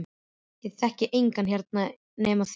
Ég þekki engan hér nema þig.